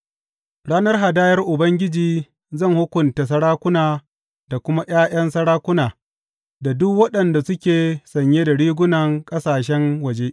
A ranar hadayar Ubangiji zan hukunta sarakuna da kuma ’ya’yan sarakuna da duk waɗanda suke sanye da rigunan ƙasashen waje.